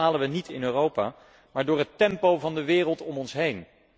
Dat bepalen we niet in Europa, maar door het tempo van de wereld om ons heen.